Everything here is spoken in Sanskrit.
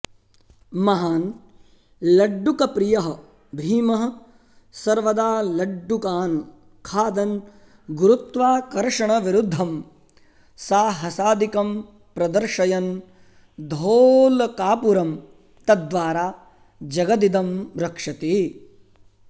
महान् लड्डुकप्रियः भीमः सर्वदा लड्डुकान् खादन् गुरुत्वाकर्षणविरुद्धं साहसादिकं प्रदर्शयन् धोलकापुरं तद्वारा जगदिदं रक्षति